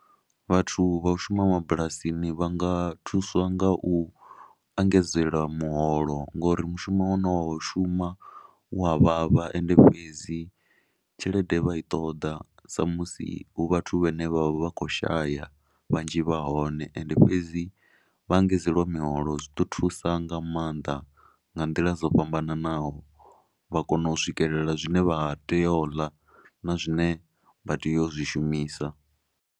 Vhathu vha u shuma mabulasini vha nga thuswa nga u engedzelwa muholo ngori mushumo une vha u shuma wa vhavha ende fhedzi tshelede vha i ṱoḓa sa musi hu vhathu vhane vha vha vha khou shaya vhanzhi vha hone. Ende fhedzi vha engedzelwa miholo zw iḓo thusa nga maanḓa nga nḓila dzo fhambananaho vha kone u swikelela zwine vha tea u ḽa na zwine vha tea u zwi shumisa.